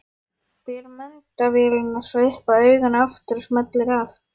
Ber myndavélina svo upp að auganu aftur og smellir af.